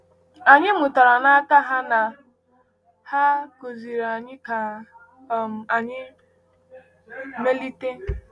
“Anyị mụtara n’aka ha...” na “Ha kụziri anyị ka um anyị melite...”